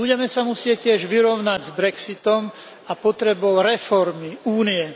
Budeme sa musieť tiež vyrovnať s Brexitom a potrebou reformy Únie.